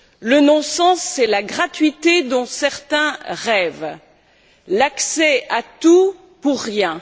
Le non sens, c'est la gratuité dont certains rêvent, l'accès à tout pour rien.